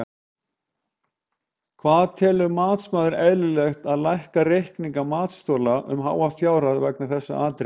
Hvað telur matsmaður eðlilegt að lækka reikninga matsþola um háa fjárhæð vegna þessara atriða?